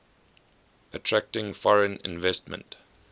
attracting foreign investment